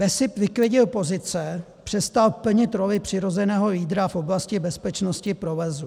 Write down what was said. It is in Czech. BESIP vyklidil pozice, přestal plnit roli přirozeného lídra v oblasti bezpečnosti provozu.